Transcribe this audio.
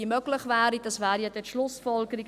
– Dies wäre dann die Schlussfolgerung.